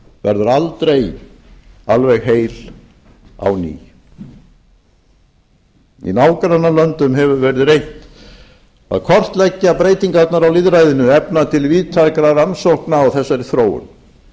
verður aldrei alveg heil á ný í nágrannalöndum hefur verið reynt að kortleggja breytingarnar á lýðræðinu efna til víðtækra rannsókna á þessari þróun